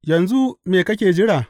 Yanzu me kake jira?